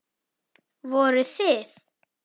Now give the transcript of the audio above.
Voruð þið.